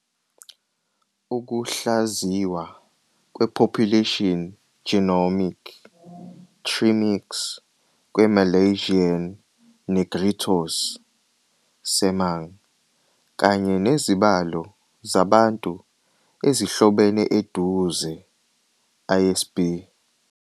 Ukuhlaziywa kwe-Population genomic "TreeMix" kwe-Malaysian Negritos, Semang, kanye nezibalo zabantu ezihlobene eduze, isb.